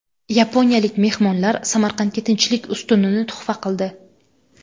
Yaponiyalik mehmonlar Samarqandga Tinchlik ustunini tuhfa qildi.